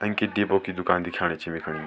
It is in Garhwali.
अंकित डिपो की दूकान दिखाणी छ वेखणी।